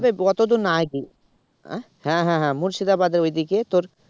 এতদূর না গিয়ে আহ হ্যাঁ হ্যাঁ হ্যাঁ মুর্শিদাবাদের ওইদিকে তোর